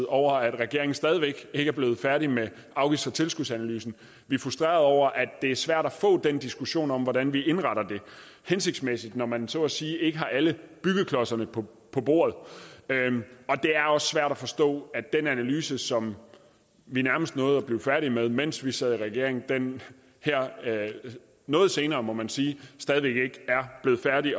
over at regeringen stadig væk ikke er blevet færdig med afgifts og tilskudsanalysen vi er frustrerede over at det er svært at få den diskussion om hvordan vi indretter det hensigtsmæssigt når man så at sige ikke har alle byggeklodserne på bordet det er også svært at forstå at den analyse som vi nærmest nåede at blive færdige med mens vi sad i regering her noget senere må man sige stadig væk ikke er blevet færdig